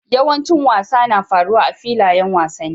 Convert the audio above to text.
Yawancin wasa na faruwa a filayen wasanni.